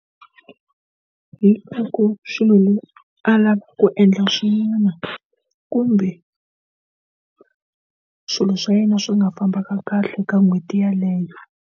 swilo a lava ku endla swin'wana kumbe swilo swa yena swi nga fambaka kahle ka n'hweti yeleyo.